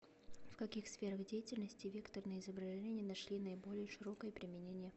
в каких сферах деятельности векторные изображения нашли наиболее широкое применение